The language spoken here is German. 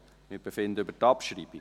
Wir befinden über die Abschreibung.